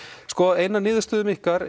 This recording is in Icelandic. sko ein af niðurstöðum ykkar